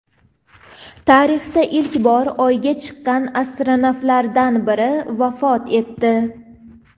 Tarixda ilk bor Oyga chiqqan astronavtlardan biri vafot etdi.